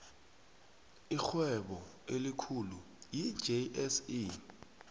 irhwebo elikhulu yi jse